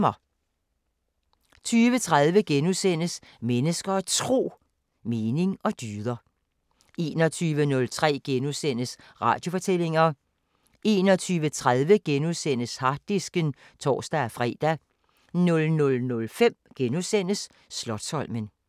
20:30: Mennesker og Tro: Mening og dyder * 21:03: Radiofortællinger * 21:30: Harddisken *(tor-fre) 00:05: Slotsholmen *